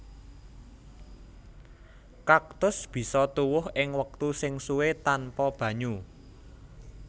Kaktus bisa tuwuh ing wektu sing suwé tanpa banyu